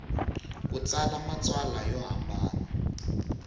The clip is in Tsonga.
ku tsala matsalwa yo hambana